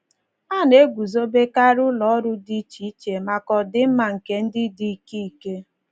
A na - eguzobekarị ụlọ ọrụ dị iche iche maka ọdịmma nke ndị dị ike ike.